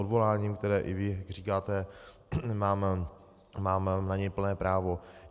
Odvoláním, které, jak i vy říkáte, mám na něj plné právo.